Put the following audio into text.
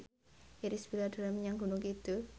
Irish Bella dolan menyang Gunung Kidul